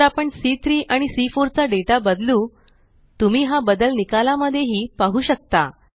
जर आपण C3आणि सी4 चा डेटा बदलू तुम्ही हा बदल निकाला मध्ये ही पाहु शकता